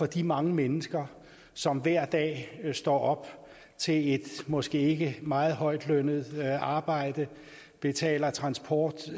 de mange mennesker som hver dag står op til et måske ikke meget højt lønnet arbejde betaler transport